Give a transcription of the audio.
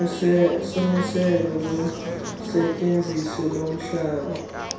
somiselo losetyenziso lomhlaba